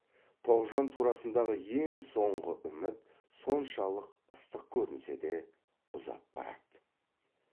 тоғжан турасындағы ең соңғы үміт соншалық ыстық көрінсе де ұзап барады